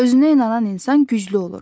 Özünə inanan insan güclü olur.